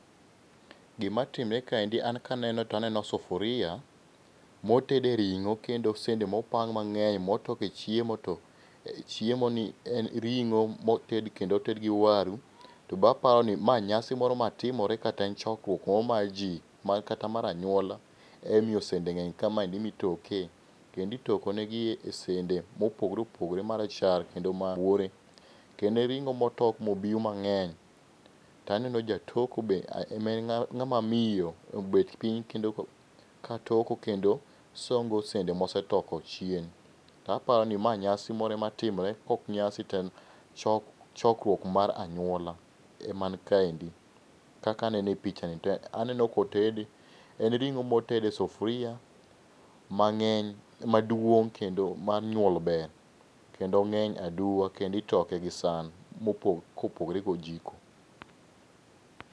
Gima timore kaendi an kaneno to aneno sufuria, motede ring'o kendo sende mopang mang'eny mitoke chiemo to chiemoni en ring'o moted kendo oted gi waru. To be aparo ni ma nyasi moro matimore kata en chokruok moro mar ji kata mar anyuola emomyo sende ng'eny ka mitoke. kendo Itoko negi esende mopogore opogore marachar kendo ma rabuore. En ring'o motok mobiw mang'eny. To aneno jatoko be, en ng'ama miyo. Obet piny kendo katoko, osongo sende mosetoko chien. To aparo ni ma nyasi moro ema timore, kaok nyasi to en chokruok mar anyuola ema nikaendi kaka anene epichani. Aneno kotede, en ring'o moted e sufuria mang'eny maduong' kendo mar sufuria mar nyuol ber, kendo ong'eny aduwa kendo itoke gi san kopogore gojiko.